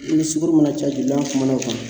I ni sukoro mana ca bi n'an kumana o kan